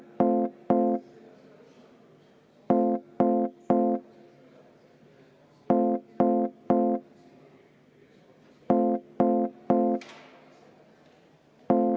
Aitäh, austatud eesistuja!